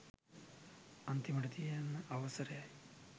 අන්තිමට තියන අවසරයි